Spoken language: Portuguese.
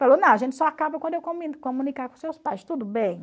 Falou, não, a gente só acaba quando eu comunicar com seus pais, tudo bem?